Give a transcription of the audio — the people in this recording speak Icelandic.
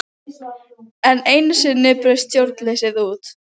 Það voru bæði aðgerðar- og beitingarhús, fiskvinnsluhús og stór bryggja.